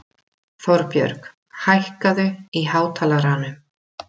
Þorbjörg, hækkaðu í hátalaranum.